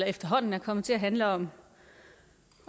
efterhånden er kommet til at handle om